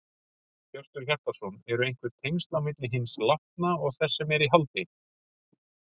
Hjörtur Hjartarson: Eru einhver tengsl á milli hins látna og þess sem er í haldi?